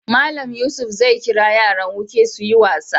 Mallam Yusuf zai kira yaran woke su yi wasa.